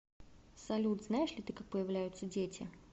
салют знаешь ли ты как появляются дети